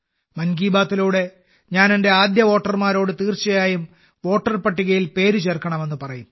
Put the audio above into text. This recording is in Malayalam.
മൻ കി ബാത്തിലൂടെ ഞാൻ എന്റെ ആദ്യ വോട്ടർമാരോട് തീർച്ചയായും വോട്ടർ പട്ടികയിൽ പേര് ചേർക്കണമെന്ന് പറയും